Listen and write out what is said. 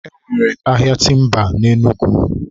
e nwere ahịa timba na Enugu.